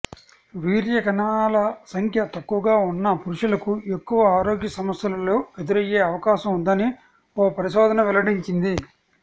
వీర్యకణాల సంఖ్య తక్కువగా ఉన్న పురుషులకు ఎక్కువ ఆరోగ్య సమస్యలు ఎదురయ్యే అవకాశం ఉందని ఓ పరిశోధన వెల్లడించింది